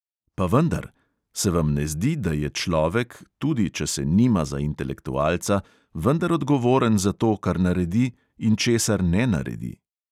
Pa vendar: se vam ne zdi, da je človek, tudi če se nima za intelektualca, vendar odgovoren za to, kar naredi in česar ne naredi?